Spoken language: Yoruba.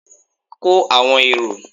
ko awọn eró!